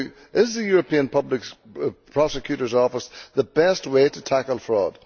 Is the European Public Prosecutor's Office the best way to tackle fraud?